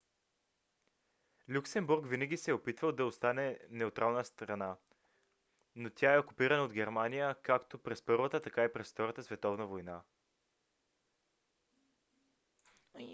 люксембург винаги се е опитвал да остане неутрална страна но тя е окупирана от германия както през първата така и във втората световна война